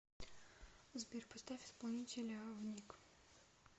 сбер поставь исполнителя внук